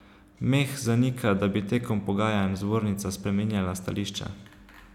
Meh zanika, da bi tekom pogajanj zbornica spreminjala stališča.